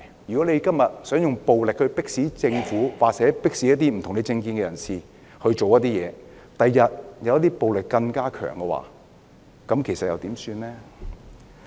如果今天想用暴力迫使政府或持不同政見的人士做某些事情，日後出現更強烈的暴力時，又怎麼辦呢？